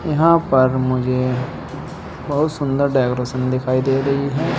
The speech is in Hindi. यहां पर मुझे बहुत सुंदर डेकोरेशन दिखाई दे रही है।